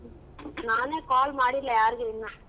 ನಾನೇ call ಮಾಡಿಲ್ಲ ಯಾರಿಗೂ ಇನ್ನ.